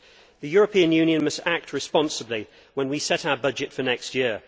The European Union must act responsibly when we set our budget for next year.